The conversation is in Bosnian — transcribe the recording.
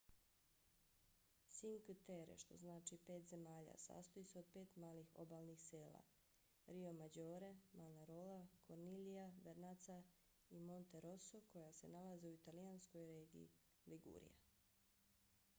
cinque terre što znači pet zemalja sastoji se od pet malih obalnih sela riomaggiore manarola corniglia vernazza i monterosso koja se nalaze u italijanskoj regiji ligurija